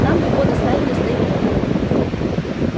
нам его доставили с таймыра